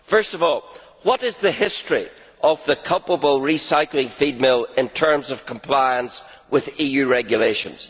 Firstly, what is the history of the culpable recycling feed mill in terms of compliance with EU regulations?